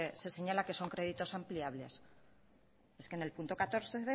se señalan que son créditos ampliables es que en el punto catorce